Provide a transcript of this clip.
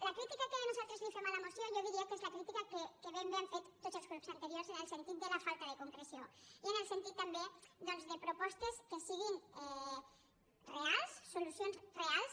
la crítica que nosaltres fem a la moció jo diria que és la crítica que ben bé han fet tots els grups anteriors en el sentit de la falta de concreció i en el sentit també doncs de propostes que siguin reals solucions reals